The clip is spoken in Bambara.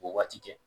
K'o waati kɛ